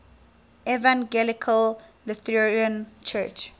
evangelical lutheran church